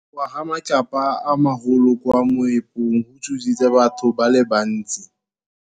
Go wa ga matlapa a magolo ko moepong go tshositse batho ba le bantsi.